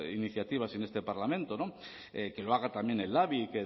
iniciativas y en este parlamento que lo haga también el labi